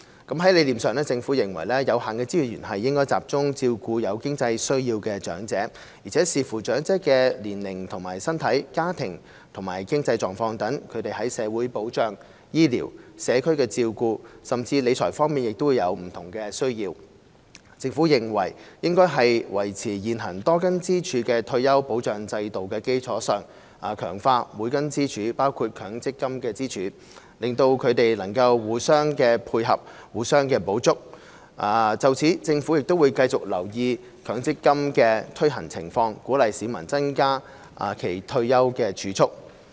在理念上，政府認為有限的資源應集中照顧有經濟需要的長者，而且視乎長者的年齡及身體、家庭和經濟狀況等，他們在社會保障、醫療、社區照顧，甚至理財方面亦會有不同的需要。政府認為應在維持現行多根支柱的退休保障制度的基礎上，強化每根支柱，包括強積金支柱，令到它們能互相配合，互相補足。就此，政府會繼續留意強積金的推行情況，鼓勵市民增加其退休儲蓄。